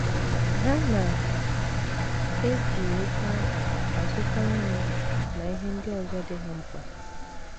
Ha na - eji ego ahụ azụta nri na ihe ndị ọzọ dị ha mkpa.